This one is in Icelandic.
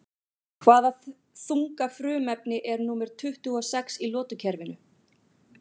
Hvaða þunga frumefni er númer tuttugu og sex í lotukerfinu?